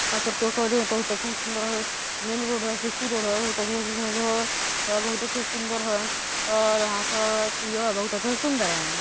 सुंदर हैं सुंदर हैं और यहाँ पर सुंदर हैं।